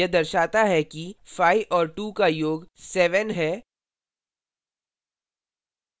यह दर्शाता है कि 5 और 2 का योग 700 है और